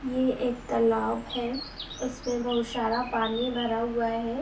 ये एक तालाब है। इसमें बहुत शारा पानी भरा हुआ हे ।